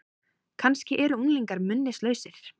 Kannski eru unglingar minnislausir?